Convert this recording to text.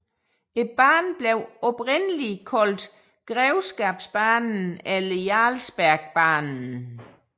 Banen blev oprindeligt kaldt Grevskapsbanen eller Jarlsbergbanen